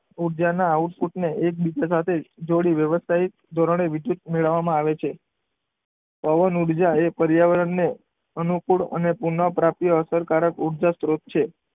ઊર્જાના આઉટપુટને એકબીજા સાથે જોડી વ્યવસાય ધોરણે વિદ્યુત મેળવવામાં આવે છે. પવન ઊર્જા એ પર્યાવરણને અનુકૂળ પુનઃપ્રાપ્ય અસરકારક ઉર્જા સ્ત્રોત છે.